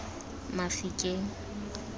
mafikeng